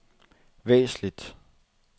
væsentligt